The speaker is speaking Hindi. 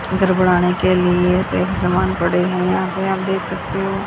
घर बनाने के लिए समान पड़े हैं यहां पे आप देख सकते हो।